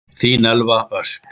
Þín Elva Ösp.